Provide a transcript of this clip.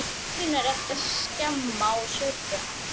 Þig munar ekki um að skemma og saurga.